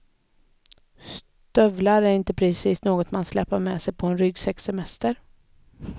Stövlar är inte precis något man släpar med på en ryggsäckssemester.